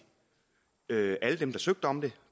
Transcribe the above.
alle dem der søgte om det